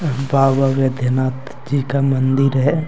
बाबा वैद्यनाथ जी का मंदिर है।